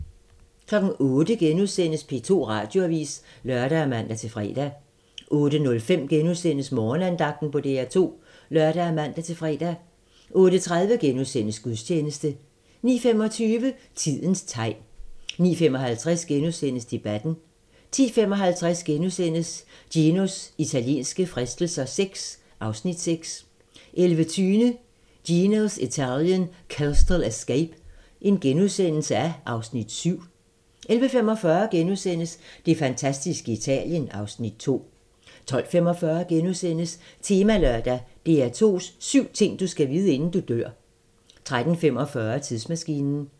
08:00: P2 Radioavis *(lør og man-fre) 08:05: Morgenandagten på DR2 *(lør og man-fre) 08:30: Gudstjeneste * 09:25: Tidens tegn 09:55: Debatten * 10:55: Ginos italienske fristelser VI (Afs. 6)* 11:20: Gino's Italian Coastal Escape (Afs. 7)* 11:45: Det fantastiske Italien (Afs. 2)* 12:45: Temalørdag: DR2's syv ting, du skal vide, inden du dør * 13:45: Tidsmaskinen